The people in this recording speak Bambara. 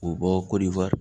K'u bɔ kɔdiwari